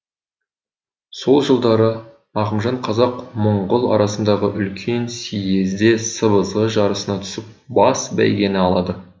сол жылдары ақымжан қазақ мұңғыл арасындағы үлкен сиезде сыбызғы жарысына түсіп бас бәйгені алады